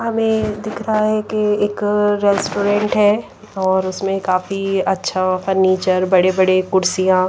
हमें दिख रहा है कि एक रेस्टोरेंट है और उसमें काफी अच्छा फर्नीचर बड़े-बड़े कुर्सियां--